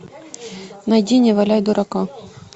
найди не валяй дурака